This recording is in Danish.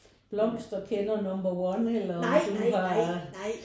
Blomster kender number one eller om du har